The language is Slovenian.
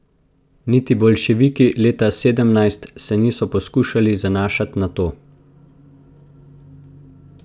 Niti boljševiki leta sedemnajst se niso poskušali zanašat na to.